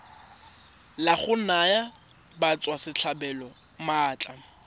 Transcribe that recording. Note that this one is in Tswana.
la go naya batswasetlhabelo maatla